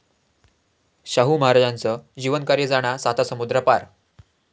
शाहू महाराजांचं जीवनकार्य जाणार सातासमुद्रापार